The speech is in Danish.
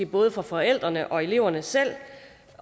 både forældrene og eleverne selv